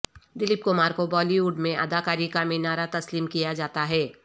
دلیپ کمار کو Bollywood میں اداکاری کا مینارہ تسلیم کیا جاتا ہے